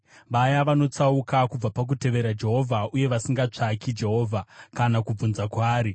vaya vanotsauka kubva pakutevera Jehovha uye vasingatsvaki Jehovha kana kubvunza kwaari.